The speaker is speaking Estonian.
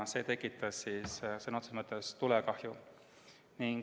See tekitas sõna otseses mõttes tulekahju.